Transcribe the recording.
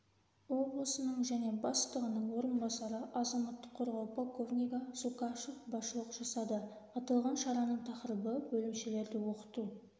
облысының және бастығының орынбасары азаматтық қорғау полковнигі зулкашев басшылық жасады аталған шараның тақырыбы бөлімшелерде оқыту